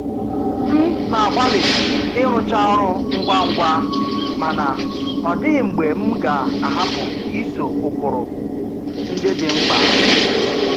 M na-agbalị ịrụcha ọrụ ngwa ngwa mana ọ dịghị mgbe m ga-ahapu iso ụkpụrụ ndị dị mkpa.